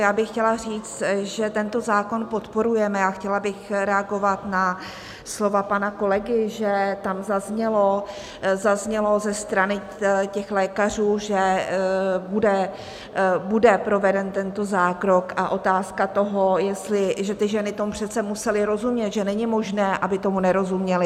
Já bych chtěla říct, že tento zákon podporujeme, a chtěla bych reagovat na slova pana kolegy, že tam zaznělo ze strany těch lékařů, že bude proveden tento zákrok, a otázka toho, že ty ženy tomu přece musely rozumět, že není možné, aby tomu nerozuměly.